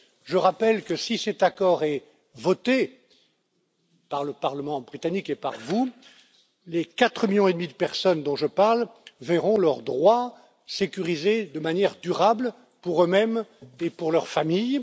Je rappelle que si cet accord est voté par le Parlement britannique et par vous, les quatre millions et demi de personnes dont je parle verront leurs droits sécurisés de manière durable pour eux mêmes et pour leurs familles.